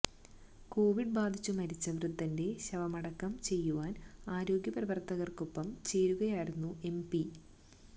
Covid ബാധിച്ചു മരിച്ച വൃദ്ധന്റെ ശവമടക്കം ചെയ്യുവാൻ ആരോഗ്യപ്രവർത്തകർക്കൊപ്പം ചേരുകയായിരുന്നു എം പി